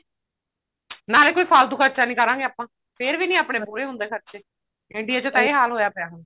ਨਾਲੇ ਕੋਈ ਫਾਲਤੂ ਖਰਚਾ ਨੀ ਕਰਾਂਗੇ ਆਪਾਂ ਫ਼ੇਰ ਵੀ ਆਪਣੇ ਮਤਲਬ ਪੂਰੇ ਹੁੰਦੇ ਖਰਚੇ india ਛਾ ਤਾਂ ਇਹ ਹਾਲ ਹੋਇਆ ਪਿਆ ਹੁਣ